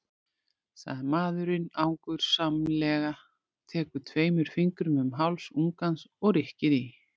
segir maðurinn angursamlega, tekur tveimur fingrum um háls ungans og rykkir í.